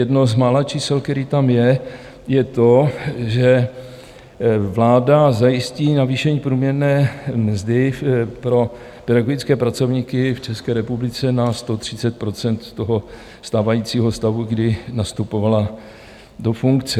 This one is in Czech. Jedno z mála čísel, které tam je, je to, že vláda zajistí navýšení průměrné mzdy pro pedagogické pracovníky v České republice na 130 % toho stávajícího stavu, kdy nastupovala do funkce.